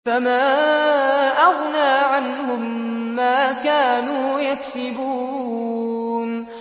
فَمَا أَغْنَىٰ عَنْهُم مَّا كَانُوا يَكْسِبُونَ